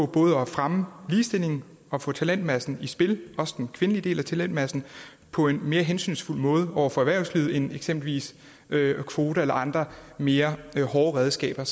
både at fremme ligestillingen og få talentmassen i spil også den kvindelige del af talentmassen på en mere hensynsfuld måde over for erhvervslivet end eksempelvis kvoter eller andre mere hårde redskaber